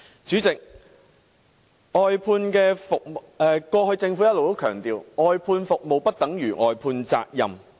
主席，過去政府一直強調，外判服務不等於外判責任。